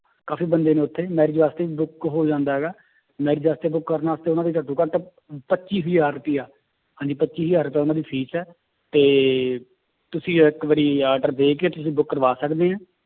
ਕਾਫ਼ੀ ਬੰਦੇ ਨੇ ਉੱਥੇ marriage ਵਾਸਤੇ book ਹੋ ਜਾਂਦਾ ਹੈਗਾ marriage ਵਾਸਤੇ book ਕਰਨ ਵਾਸਤੇ ਉਹਨਾਂ ਦੀ ਘੱਟੋ ਘੱਟ ਅਮ ਪੱਚੀ ਹਜ਼ਾਰ ਰੁਪਇਆ ਹਾਂਜੀ ਪੱਚੀ ਹਜ਼ਾਰ ਰੁਪਇਆ ਉਹਨਾਂ ਦੀ fees ਹੈ ਤੇ ਤੁਸੀਂ ਇੱਕ ਵਾਰੀ order ਦੇ ਕੇ ਤੁਸੀਂ book ਕਰਵਾ ਸਕਦੇ ਹੈ।